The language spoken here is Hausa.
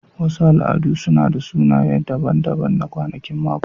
Wasu al'adu suna da sunaye daban-daban na kwanakin mako.